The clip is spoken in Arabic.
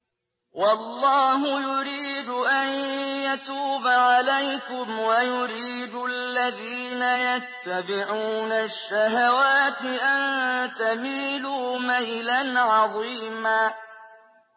وَاللَّهُ يُرِيدُ أَن يَتُوبَ عَلَيْكُمْ وَيُرِيدُ الَّذِينَ يَتَّبِعُونَ الشَّهَوَاتِ أَن تَمِيلُوا مَيْلًا عَظِيمًا